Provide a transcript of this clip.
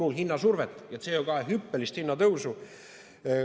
Turul hinnasurvet ja CO2 hinna hüppelist tõusu. "...